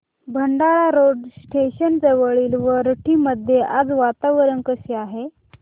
Bhandara road station जवळील वरठी मध्ये आज वातावरण कसे आहे